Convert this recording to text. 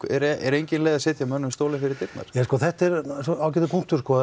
er engin leið að setja mönnum stólinn fyrir dyrnar þetta er ágætur punktur